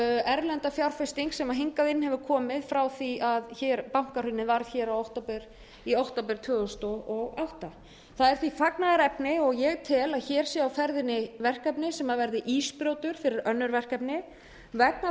erlenda fjárfesting sem hefur komið hingað inn frá því að bankahrunið varð í október tvö þúsund og átta það er því fagnaðarefni og ég tel að hér sé á ferðinni verkefni sem verði ísbrjótur fyrir önnur verkefni vegna